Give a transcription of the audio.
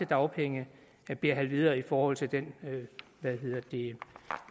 dagpenge bliver halveret i forhold til den